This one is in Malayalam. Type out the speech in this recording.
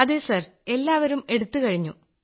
അതെ സർ എല്ലാവരും എടുത്തു കഴിഞ്ഞു